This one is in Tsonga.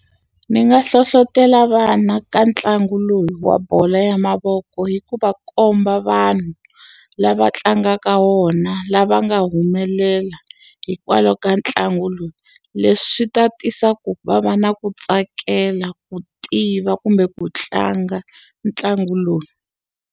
Ni nga hlohletela vana ka ntlangu lowu wa bolo ya mavoko hi ku va komba vanhu, lava tlangaka wona lava nga humelela hikwalaho ka ntlangu lowu. Leswi swi ta tisa ku va va na ku tsakela, ku tiva, kumbe ku tlanga ntlangu lowu.